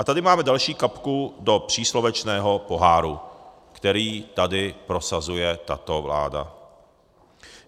A tady máme další kapku do příslovečného poháru, který tady prosazuje tato vláda.